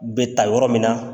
U bɛ ta yɔrɔ min na.